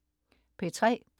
P3: